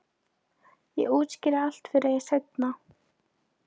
Ég útskýri allt fyrir þér seinna.